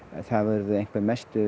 það urðu einhverjar mestu